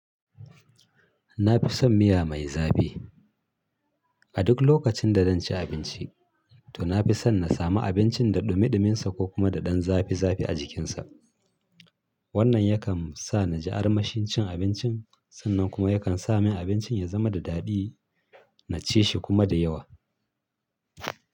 Na fi son miya mai zafi. A duk lokacin da zan ci abinci, to na fi son na samu abincin da ɗumi ɗuminsa ko kuma da ɗan zafi zafi a jikinsa. Wannan yakan sa na ji armashin cin abincin sannan kuma yakan sa min abincin ya zama da daɗi na cishi kuma da yawa.